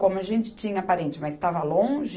Como a gente tinha parente, mas estava longe,